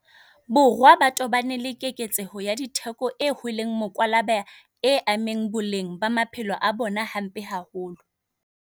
Borwa ba tobane le keketseho ya ditheko e hlweleng mokwalaba e ameng boleng ba maphelo a bona hampe haholo.